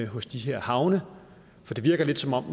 hos de her havne for det virker lidt som om